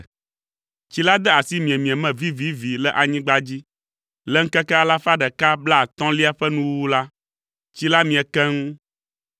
Tsi la de asi miemie me vivivi le anyigba dzi. Le ŋkeke alafa ɖeka blaatɔ̃lia ƒe nuwuwu la, tsi la mie keŋ,